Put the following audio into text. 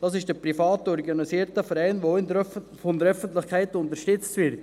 Dies ist ein privat organisierter Verein, der auch von der Öffentlichkeit unterstützt wird.